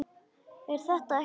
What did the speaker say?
Er þetta ekki sárt?